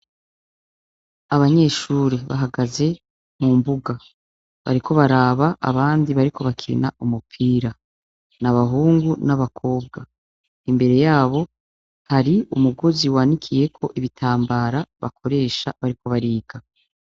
Abanyeshuri bahagaze mu mbuga bariko baraba abandi bariko bakinira umupira n'abahungu n'abakobwa imbere yabo hari umugozi wanikiyeko ibitambara bakoresha bariko bariga.